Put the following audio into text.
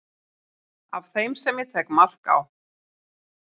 af þeim sem ég tek mark á